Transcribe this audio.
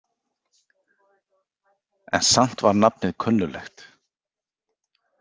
En samt var nafnið kunnuglegt.